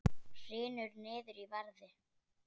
Hrynur niður í verði